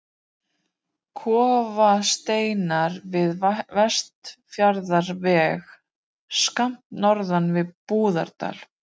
Klofasteinar við Vestfjarðaveg, skammt norðan við Búðardal.